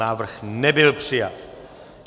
Návrh nebyl přijat.